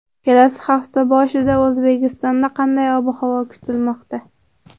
Kelasi hafta boshida O‘zbekistonda qanday ob-havo kutilmoqda?.